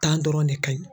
dɔrɔn de ka ɲi